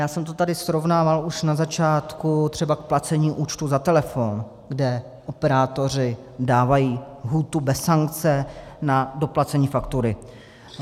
Já jsem to tady srovnával už na začátku třeba s placením účtu za telefon, kde operátoři dávají lhůtu bez sankce na doplacení faktury.